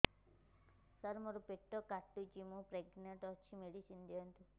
ସାର ମୋର ପେଟ କାଟୁଚି ମୁ ପ୍ରେଗନାଂଟ ଅଛି ମେଡିସିନ ଦିଅନ୍ତୁ